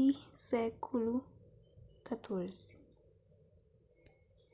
y xiv